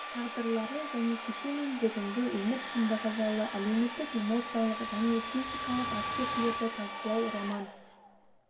тағдырлары және кеше мен бүгінгі өмір шындығы жайлы әлеуметтік эмоциялық және физикалық аспектілерді талқылау роман